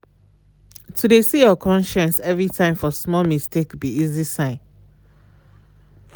to de see your conscience every time for small mistake be esay sign.